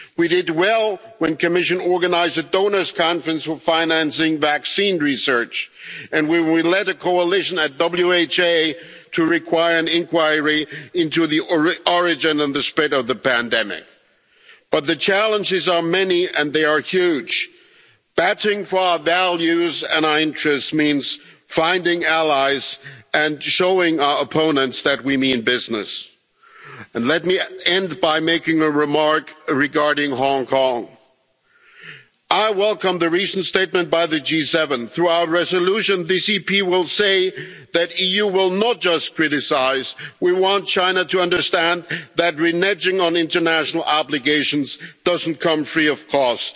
PPEs. We did well when the Commission organised a donors' conference for financing vaccine research and we will lead a coalition at the WHO to require an inquiry into the origin and the spread of the pandemic. But the challenges are many and they are huge. Battling for our values and our interests means finding allies and showing our opponents that we mean business. And let me end by making a remark regarding Hong Kong. I welcome the recent statement by the G7. Through our resolution, this EP will say that the EU will not just criticise. We want China to understand that reneging on international obligations doesn't come free